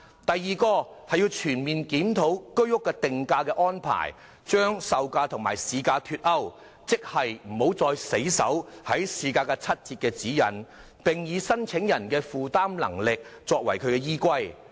第二，全面檢討居屋的定價安排，容許售價與市價脫鈎，即不再死守市價七折的指引，而以申請人的負擔能力作為依歸。